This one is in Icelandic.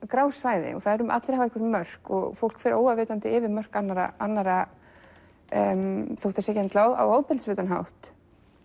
grá svæði allir hafa einhver mörk og fólk fer óafvitandi yfir mörk annarra annarra þótt það sé ekki endilega á ofbeldisfullan hátt